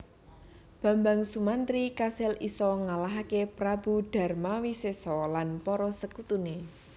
Bambang Sumantri kasil isa ngalahake Prabu Darmawisesa lan para sekutune